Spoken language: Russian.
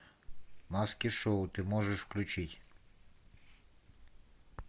маски шоу ты можешь включить